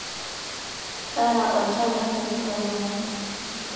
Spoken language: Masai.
taara oltaa tenkaji oolomon